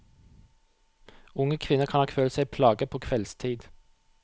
Unge kvinner kan nok føle seg plaget på kveldstid.